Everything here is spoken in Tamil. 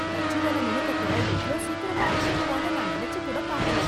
தச்சுவேல நுணுக்கத்த இவ்ளோ சீக்கிரமா கத்துக்குவான்னு நான் நினைச்சிக்கூட பாக்கல.